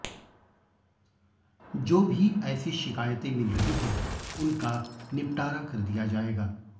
जो भी ऐसी शिकायतें मिल रहीं हैं उनका निपटारा कर दिया जाएगा